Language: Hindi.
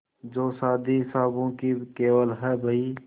जो शादी हिसाबों की केवल है बही